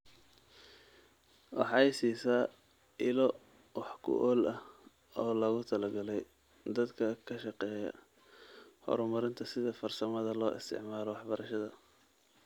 Waxay siisaa ilo wax ku ool ah oo loogu talagalay dadka ka shaqeeya horumarinta sida farsamada loo isticmaalo waxbarashada.